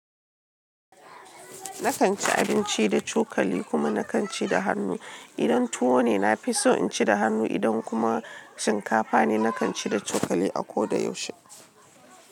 Na kan ci abinci da cokali kuma na kan ci da hannu. Idan tuwo ne, na fi so in ci da hannu, idan kuma shinkafa ne, na kan ci da cokali a ko da yaushe.